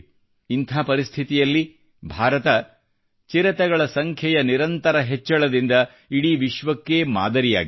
ಇಂಥ ಪರಿಸ್ಥಿತಿಯಲ್ಲಿ ಭಾರತ ಚಿರತೆಗಳ ಸಂಖ್ಯೆಯ ನಿರಂತರ ಹೆಚ್ಚಳದಿಂದ ಇಡೀ ವಿಶ್ವಕ್ಕೇ ಮಾದರಿಯಾಗಿದೆ